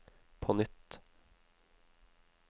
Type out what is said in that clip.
på nytt